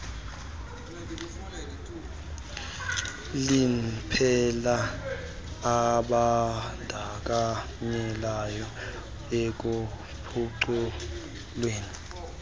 liphela abandakanyekayo ekuphuculweni